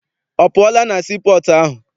Ọ pụọla na sii pọọtụ ahụ?